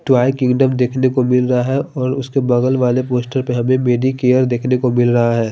Twelve kingdom देखने को मिल रहा है और उसके बगल वाले पोस्टर पर हेलो बेबी केयर देखने को मिल रहा है।